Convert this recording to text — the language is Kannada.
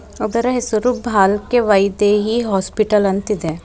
ಅದರ ಹೆಸರು ಭಾಲ್ಕೆ ವೈದೇಹಿ ಹಾಸ್ಪಿಟಲ್ ಅಂತಿದೆ.